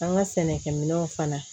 An ka sɛnɛkɛminɛnw fana